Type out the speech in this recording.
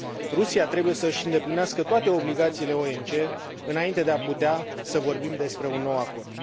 Rusia trebuie să își îndeplinească toate obligațiile OMC înainte de a putea să vorbim despre un nou acord.